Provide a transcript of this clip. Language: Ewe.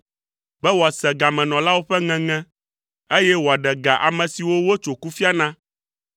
be wòase gamenɔlawo ƒe ŋeŋe, eye wòaɖe ga ame siwo wotso kufia na.”